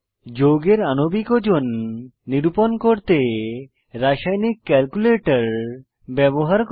যৌগের আণবিক ওজন নিরূপণ করতে রাসায়নিক ক্যালকুলেটর ব্যবহার করা